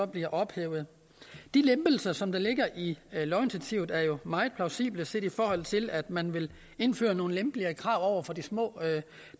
bliver ophævet de lempelser som der ligger i lovinitiativet er jo meget plausible set i forhold til at man vil indføre nogle lempeligere krav over for de små